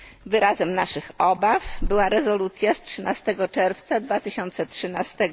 Wyrazem naszych obaw była rezolucja z dnia 13 czerwca 2013